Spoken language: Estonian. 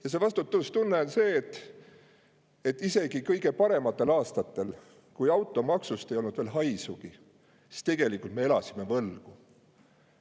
Ja see vastutustunne on see, et isegi kõige parematel aastatel, kui automaksust ei olnud veel haisugi, me tegelikult elasime võlgu.